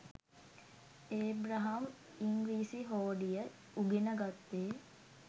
Abraham ඉංග්‍රීසි හෝඩිය උගෙන ගත්තේ